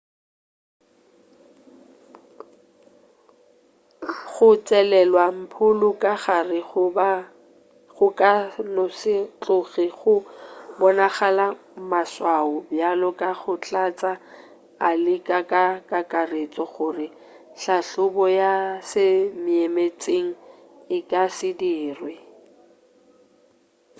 go tšelelwa mpholo ka gare go ka no se tloge go bonagala maswao bjalo ka go hlatša a leka ka kakaretšo gore hlahlobo ya semeetseng e ka se dirwe